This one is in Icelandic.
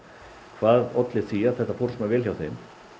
hvað olli því að þetta fór svona vel hjá þeim